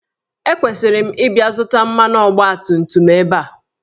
Ekwesịrị m ịbịa zụta mmanụ ọgbatumtum ebe a?